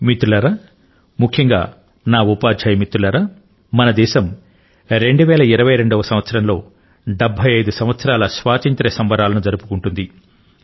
మిత్రులారా ముఖ్యంగా నా ఉపాధ్యాయ మిత్రులారా మన దేశం 2022 వ సంవత్సరంలో 75 సంవత్సరాల స్వాతంత్ర్య సంబరాలను జరుపుకోనుంది